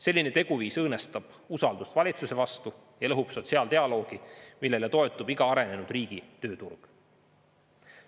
Selline teguviis õõnestab usaldust valitsuse vastu ja lõhub sotsiaaldialoogi, millele toetub iga arenenud riigi tööturg.